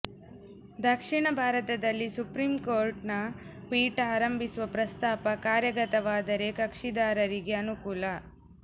ದಕ್ಷಿಣ ಭಾರತದಲ್ಲಿ ಸುಪ್ರೀಂ ಕೋರ್ಟ್ನ ಪೀಠ ಆರಂಭಿಸುವ ಪ್ರಸ್ತಾಪ ಕಾರ್ಯಗತವಾದರೆ ಕಕ್ಷಿದಾರರಿಗೆ ಅನುಕೂಲ